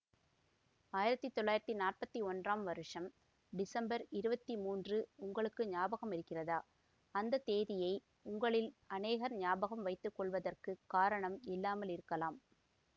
ஆயிரத்தி தொள்ளாயிரத்தி நாற்பத்தி ஒன்றாம் வருஷம் டிசம்பர் இருபத்தி மூன்று உங்களுக்கு ஞாபகமிருக்கிறதா அந்த தேதியை உங்களில் அநேகர் ஞாபகம் வைத்து கொள்வதற்குக் காரணம் இல்லாமலிருக்கலாம்